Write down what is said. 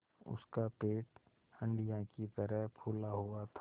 उसका पेट हंडिया की तरह फूला हुआ था